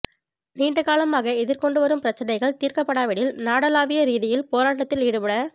நீண்டகாலமாக எதிர் கொண்டுவரும் பிரச்சினைகள் தீர்க்கப்படாவிடில் நாடளாவிய ரீதியில் போராட்டத்தில் ஈடுபடப